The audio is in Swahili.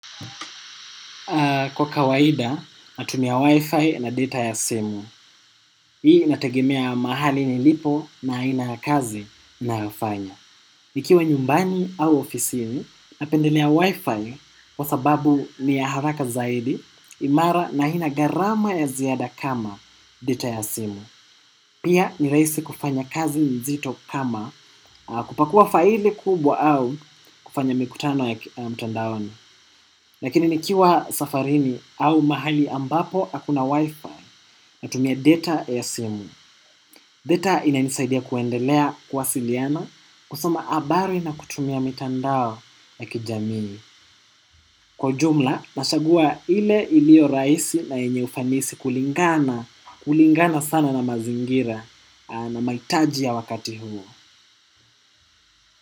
Kwa kawaida, natumia wi-fi na data ya simu. Hii nategemea mahali nilipo na aina ya kazi nayo fanya. Nikiwa nyumbani au ofisini, napendelea wi-fi kwa sababu ni ya haraka zaidi, imara na haina gharama ya ziada kama data ya simu. Pia ni rahisi kufanya kazi mzito kama kupakua faili kubwa au kufanya mikutano ya mtandaoni. Lakini nikiwa safarini au mahali ambapo hakuna wifi natumia data ya simu. Data ina nisaidia kuendelea kuwasiliana kusoma habari na kutumia mitandao ya kijamini. Kwa jumla, nachagua ile iliyo rahisi na yenye ufanisi kulingana, kulingana sana na mazingira na mahitaji ya wakati huo.